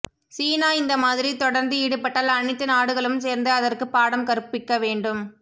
சீனா இந்த மாதிரி தொடர்ந்து ஈடுபட்டால் அணைத்து நாடுகளும் சேர்ந்து அதற்க்கு பாடம் கற்பிக்க வேண்டும்